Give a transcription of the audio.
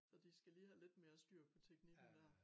Så de skal lige have lidt mere styr på teknikken dér